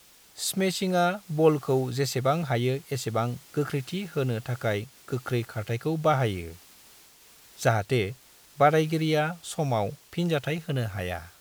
स्मैशिंआ बलखौ जेसेबां हायो एसेबां गोख्रैथि होनो थाखाय गोख्रै खारथायखौ बाहायो, जाहाथे बादायगिरिया समाव फिनजाथाय होनो हाया।